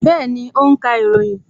Bẹẹni, ó ń ka ìròyìn